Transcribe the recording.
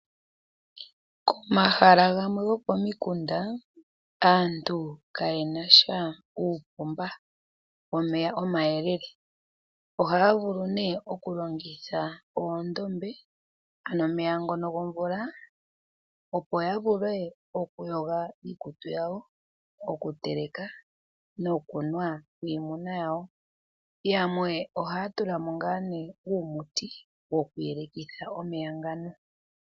Komahala gamwe gokomikunda aantu kaye na sha uupomba womeya omayelele. Ohaya vulu okulongitha oondombe, ano omeya ngono gomvula, opo ya vule okuyoga iikutu yawo, okuteleka nokunwa niimuna yawo. Yamwe ohaya tula mo ngaa ne uumuti wokuyelekitha omeya ngano.